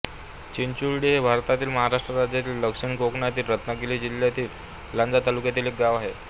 चिंचुंर्टी हे भारतातील महाराष्ट्र राज्यातील दक्षिण कोकणातील रत्नागिरी जिल्ह्यातील लांजा तालुक्यातील एक गाव आहे